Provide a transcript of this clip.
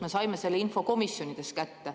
Me saime selle info komisjonides kätte.